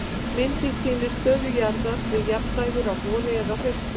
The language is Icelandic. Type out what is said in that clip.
Myndin sýnir stöðu jarðar við jafndægur á vori eða hausti.